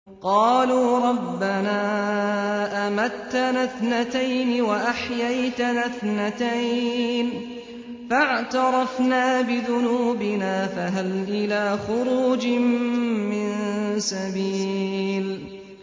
قَالُوا رَبَّنَا أَمَتَّنَا اثْنَتَيْنِ وَأَحْيَيْتَنَا اثْنَتَيْنِ فَاعْتَرَفْنَا بِذُنُوبِنَا فَهَلْ إِلَىٰ خُرُوجٍ مِّن سَبِيلٍ